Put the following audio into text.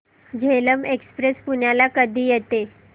Jhelum express पुण्याला कधी येते